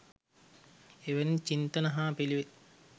එවැනි චින්තන හා පිළිවෙත්